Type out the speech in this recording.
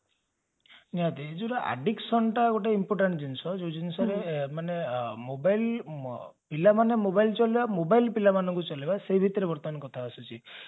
ନିଜର addiction ଟା ଗୋଟେ important ଜିନିଷ ଯାଉଟା ଜଉ ଜିନିଷରେ ମାନେ mobile ପିଲାମାନେ mobile ଚଲେଇବା mobile ପିଲାମାନଙ୍କୁ ଚଲେଇବା ସେ ଭିତରେ ବର୍ତ୍ତମାନ କଥା ଆସୁଛି